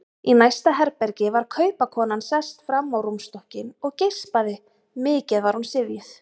Í næsta herbergi var kaupakonan sest fram á rúmstokkinn og geispaði, mikið var hún syfjuð.